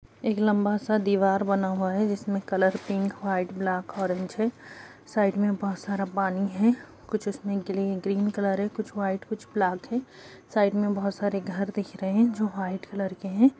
एक लम्बा सा दीवार बना हुआ है जिसमे colour pink white black orange है साइड में बहुत सारा पानी है कुछ उसमे ग्लीन ग्रीन कलर है कुछ वाइट कुछ ब्लैक है साइड में बहुत सारे घर दिख रहे हैं जो वाइट कलर के हैं ।